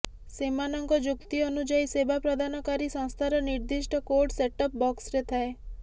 ସେମାନଙ୍କ ଯୁକ୍ତି ଅନୁଯାୟୀ ସେବା ପ୍ରଦାନକାରୀ ସଂସ୍ଥାର ନିର୍ଦ୍ଦିଷ୍ଟ କୋଡ୍ ସେଟ୍ଟପ୍ ବକ୍ସରେ ଥାଏ